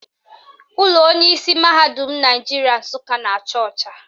Ụlọ onyeisi mahadum Naijiria Nsụka na-acha ọcha